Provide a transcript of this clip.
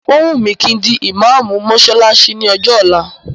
Ó wùn mí kí n di ìmáámù mọ́ṣáláṣí ní ọjọ́ ọ̀la.